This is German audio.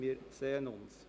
Wir sehen uns!